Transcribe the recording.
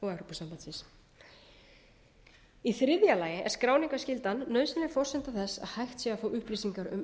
og evrópusambandsins í þriðja lagi er skráningarskyldan nauðsynleg forsenda þess að hægt sé að fá upplýsingar um